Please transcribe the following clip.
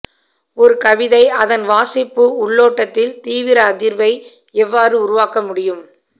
ஒரு கவிதை அதன் வாசிப்பு உள்ளோட்டத்தில் தீவிர அதிர்வை எவ்வாறு உருவாக்க முடியும்